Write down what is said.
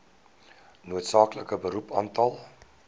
noodsaaklike beroep aantal